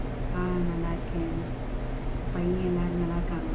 ஆஹ் நல்லா இருக்கேன். உன் பையன் எல்லாரும் நல்லா இருக்காங்களா?